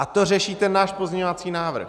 A to řeší ten náš pozměňovací návrh.